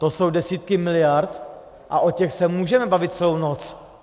To jsou desítky miliard a o těch se můžeme bavit celou noc.